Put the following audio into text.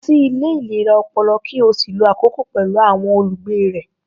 Lọ sí ilé ìlera ọpọlọ, ki ó sì lo àkokò pẹ̀lú àwọn olùgbé rẹ̀.